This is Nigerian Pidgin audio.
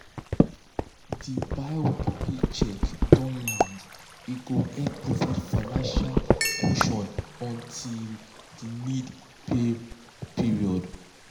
di biweekly paycheck don land e go help provide financial cushion until di need pay period